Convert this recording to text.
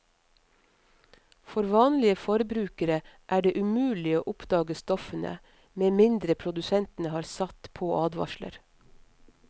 For vanlige forbrukere er det umulig å oppdage stoffene, med mindre produsentene har satt på advarsel.